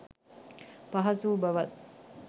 පහසු වූ බවත්